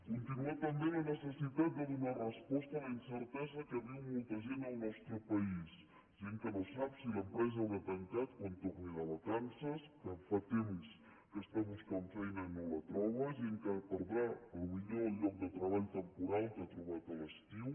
continua també la necessitat de donar resposta a la incertesa que viu molta gent al nostre país gent que no sap si l’empresa haurà tancat quan torni de vacances que fa temps que està buscant feina i no la troba gent que perdrà potser el lloc de treball temporal que ha trobat a l’estiu